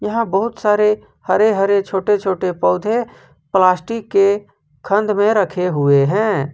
यहां बहुत सारे हरे हरे छोटे छोटे पौधे प्लास्टिक के खंड में रखे हुए हैं।